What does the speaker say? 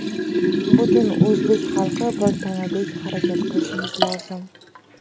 butun o‘zbek xalqi bir tanadek harakat qilishimiz lozim.